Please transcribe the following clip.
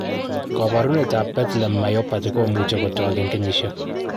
koporunetap Bethlem myopathy komuche kotok en kenyisiek.